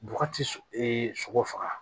Bɔgɔ ti sogo ee sogo faga